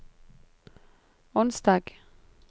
onsdag